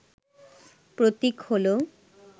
প্রতীক হল